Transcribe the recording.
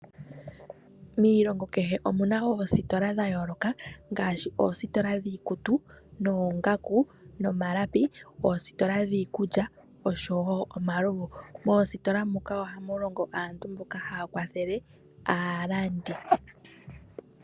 Miilongo kehe omu na oositola dha yooloka, ngaashi oositola dhiikutu noongaku ,nomalapi, oositola dhiikulya osho wo omalovu. Moositola muka ohamu longo aantu mboka haa kwathele aalandi.